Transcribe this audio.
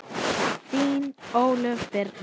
Þín Ólöf Birna.